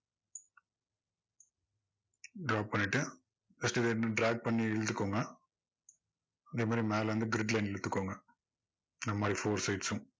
draw பண்ணிட்டு first drag பண்ணி இழுத்துக்கோங்க இந்த மாதிரி மேல இருந்து grid line இழுத்துக்கோங்க இந்த மாதிரி four sides ம்.